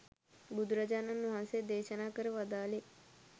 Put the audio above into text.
බුදුරජාණන් වහන්සේ දේශනා කර වදාළේ